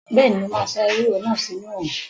Bẹ́ẹ̀ni, mo máa sá ewúro náà sínu òrùn